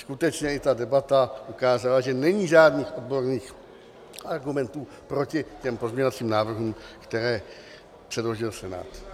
Skutečně i ta debata ukázala, že není žádných odborných argumentů proti těm pozměňovacím návrhům, které předložil Senát.